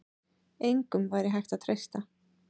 Engum væri hægt að treysta.